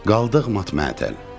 Qaldıq mat-məəttəl.